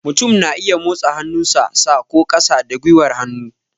Mutum na iya motsa hannu sa, sa ko ƙasa da gwiwar hannu